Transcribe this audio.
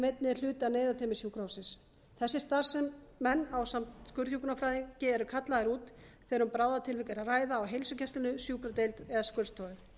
einnig er hluti af neyðarteymi sjúkrahússins þessir starfsmenn ásamt skurðhjúkrunarfræðingi eru kallaðir út þegar um bráðatilvik er að ræða á heilsugæslunni sjúkradeild eða skurðstofu